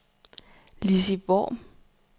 Lizzie Worm